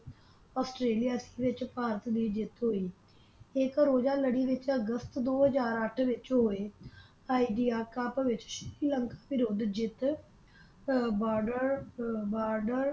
Australia ਦੇ ਵਿਚ ਭਾਰਤ ਦੀ ਜਿੱਤ ਹੋਈ ਇਕ ਰੋਜਾ ਲੜੀ ਵਿਚ ਅਗਸਤ ਦੋ ਹਾਜਰ ਅੱਠ ਵਿਚ ਹੋਯਾਯ Idea Cup ਸ੍ਰੀ ਲੰਕਾ ਵਰੁੱਧ ਜਿੱਤ ਅਹ ਬਾਡਰ ਅਹ ਬਾਡਰ